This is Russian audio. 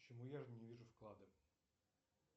почему я не вижу вклады